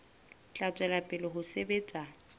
tla tswela pele ho sebetsa